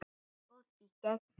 Góð í gegn.